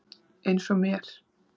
Eins og mér.